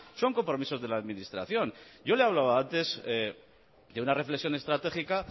son compromisos de la administración yo le he hablado antes de una reflexión estratégica